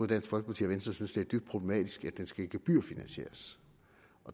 dansk folkeparti og venstre synes det er problematisk at den skal gebyrfinansieres